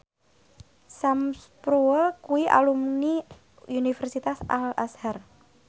Sam Spruell kuwi alumni Universitas Al Azhar